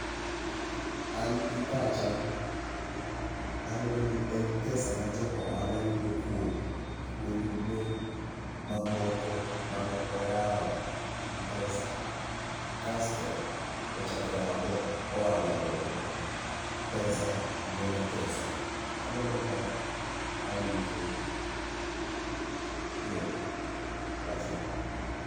An gi pacha aneno ni en pesa ma jo ohala yudo kuom ohendnine mamoko mane oyawo gi pesa kasto ochako oyawone ohala moro. Pesa nyuolo pesa, kamano koka awinjo tiend wachno.